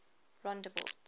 rondebult